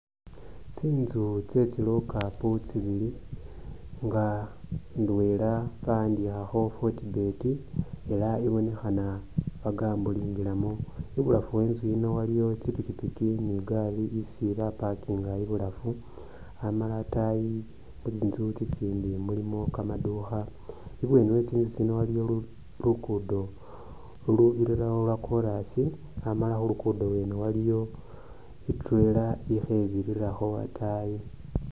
Tsinzu tsye tsi lockup tsibili nga indwela ba'andikhakho Fortbet ela ibonekhana bagambolingilamo, ibulafu we i'nzu yino iliwo tsi pikipiki ni igari isi ba parkinga ibulafu amala ataayi tsinzu tsitsindi mulimu kamaduukha. Ibweni we tsinzu tsino waliwo luguudo lulubirirawo lwa kolas, amala khu lugudo lwene waliwo i'trailer ikhe birirakho ataayi.